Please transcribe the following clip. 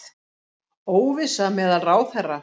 Óvissa meðal ráðherra